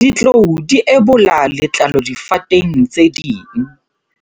Ditlou di ebola letlalo difateng tse ding.